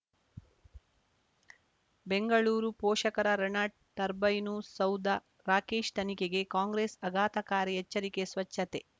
ಬೆಂಗಳೂರು ಪೋಷಕರಋಣ ಟರ್ಬೈನು ಸೌಧ ರಾಕೇಶ್ ತನಿಖೆಗೆ ಕಾಂಗ್ರೆಸ್ ಆಘಾತಕಾರಿ ಎಚ್ಚರಿಕೆ ಸ್ವಚ್ಛತೆ